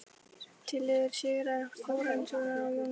Tillögur Sigurðar Þórarinssonar og Jóns Jónssonar